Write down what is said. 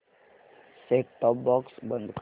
set top box बंद कर